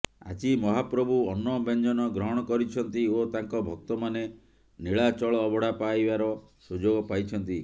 ଆଜି ମହାପ୍ରଭୁ ଅନ୍ନ ବ୍ୟଞ୍ଜନ ଗ୍ରହଣ କରିଛନ୍ତି ଓ ତାଙ୍କ ଭକ୍ତମାନେ ନୀଳାଚଳ ଅବଢା ପାଇବାର ସୁଯୋଗ ପାଇଛନ୍ତି